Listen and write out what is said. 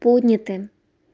подняты